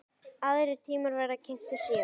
Aðrir tímar verða kynntir síðar.